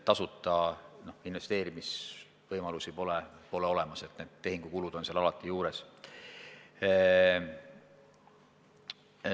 Tasuta investeerimisvõimalusi pole olemas, tehingukulud on seal alati juures.